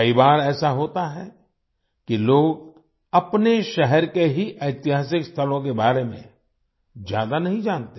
कई बार ऐसा होता है कि लोग अपने शहर के ही ऐतिहासिक स्थलों के बारे में ज्यादा नहीं जानते